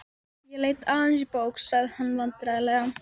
Ég leit aðeins í bók. sagði hann vandræðalega.